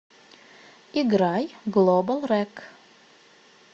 играй глобал рэк